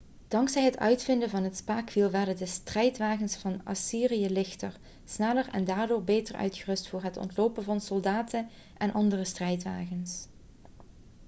dankzij het uitvinden van het spaakwiel werden de strijdwagens van assyrië lichter sneller en daardoor beter uitgerust voor het ontlopen van soldaten en andere strijdwagens